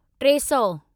टे सौ